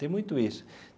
Tem muito isso.